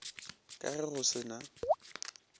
ka ge go se na